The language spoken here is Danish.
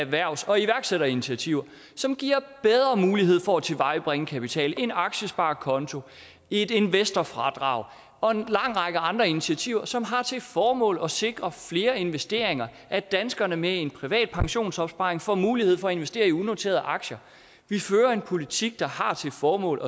erhvervs og iværksætterinitiativer som giver bedre mulighed for at tilvejebringe kapital en aktiesparekonto et investerfradrag og en lang række andre initiativer som har til formål at sikre flere investeringer og at danskere med en privat pensionsopsparing får mulighed for at investere i unoterede aktier vi fører en politik der har til formål